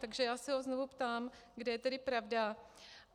Takže já se ho znovu ptám, kde je tedy pravda.